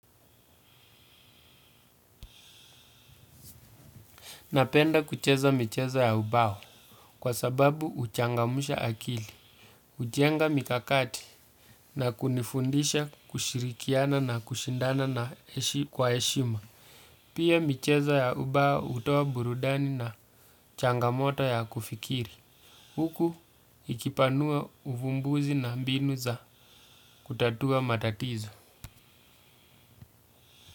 Napenda kucheza michezo ya ubao kwa sababu huchangamsha akili, hujenga mikakati na kunifundisha kushirikiana na kushindana na heshi kwa heshima. Pia michezo ya ubao hutoa burudani na changamoto ya kufikiri. Huku ikipanua uvumbuzi na mbinu za kutatua matatizo.